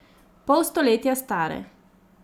Pol stoletja stare!